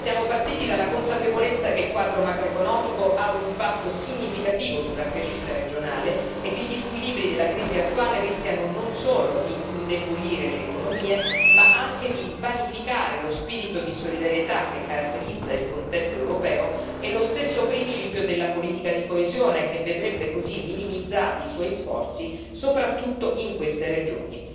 Siamo partiti dalla consapevolezza che il quadro macroeconomico ha un impatto significativo sulla crescita regionale e che gli squilibri della crisi attuale rischiano non solo di indebolire le economie, ma anche di vanificare lo spirito di solidarietà che caratterizza il contesto europeo e lo stesso principio della politica di coesione, che vedrebbe così minimizzati i suoi sforzi, soprattutto in queste regioni.